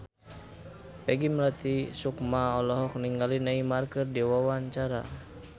Peggy Melati Sukma olohok ningali Neymar keur diwawancara